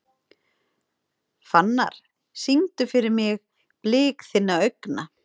Fannar, syngdu fyrir mig „Blik þinna augna“.